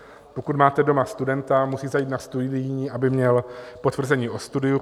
Pokud máte doma studenta, musíte jít na studijní, aby měl potvrzení o studiu.